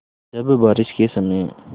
जब बारिश के समय